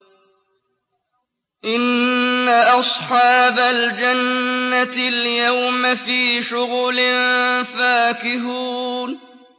إِنَّ أَصْحَابَ الْجَنَّةِ الْيَوْمَ فِي شُغُلٍ فَاكِهُونَ